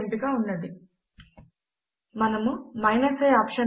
ఇది అప్పటికే ఉన్న ప్రతి ఒక్క డెస్టినేషన్ ఫైల్ యొక్క బాక్ అప్ ను తీసుకుని ఉంచుతుంది